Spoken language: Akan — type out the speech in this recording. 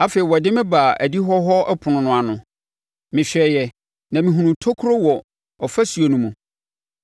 Afei, ɔde me baa adihɔ hɔ ɛpono no ano. Mehwɛeɛ na mehunuu tokuro wɔ ɔfasuo no mu.